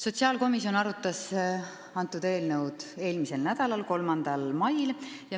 Sotsiaalkomisjon arutas seda eelnõu eelmisel nädalal, täpsemalt 3. mail.